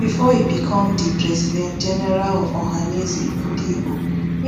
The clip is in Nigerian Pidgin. bifor e become di presidentgeneral of ohanaeze ndigbo